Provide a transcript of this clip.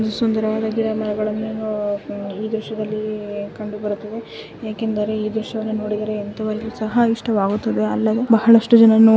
ಇಲ್ಲಿ ಸುಂದರವಾದ ಗಿಡಮರಗಳನ್ನು ಈ ದೃಶ್ಯದಲ್ಲಿ ಕಂಡುಬರುತ್ತದೆ ಏಕೆಂದರೆ ಈ ದೃಶ್ಯವನ್ನು ನೋಡಿದರೆ ಎಂತವರಿಗೂ ಸಹ ಇಷ್ಟವಾಗುತ್ತೆ ಅಲ್ಲವೇ ಬಹಳಷ್ಟು ಜನ --